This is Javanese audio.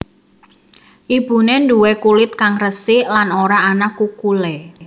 Ibune nduwe kulit kang resik lan ora ana kukulé